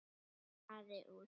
Spaði út.